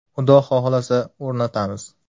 Xudo xohlasa, o‘rnatamiz.